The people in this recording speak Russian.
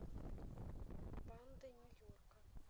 банды нью йорка